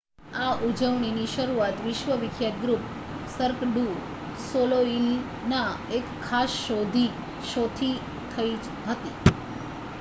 આ ઉજવણીની શરૂઆત વિશ્વ વિખ્યાત ગ્રુપ સર્ક ડુ સોલેઇલના એક ખાસ શોથી થઈ હતી